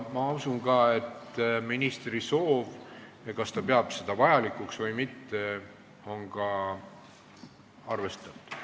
Ma usun ka, et ministri soovi ja seda, kas ta peab midagi vajalikuks või mitte, on arvestatud.